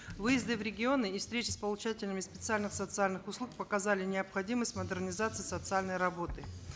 выезды в регионы и встреча с получателями специальных социальных услуг показали необходимость модернизации социальной работы